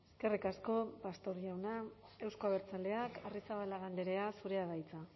eskerrik asko pastor jauna euzko abertzaleak arrizabalaga andrea zurea da hitza